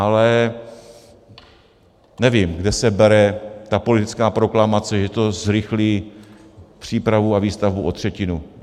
Ale nevím, kde se bere ta politická proklamace, že to zrychlí přípravu a výstavbu o třetinu.